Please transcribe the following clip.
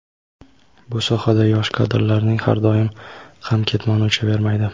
bu sohada yosh kadrlarning har doim ham "ketmoni uchavermaydi".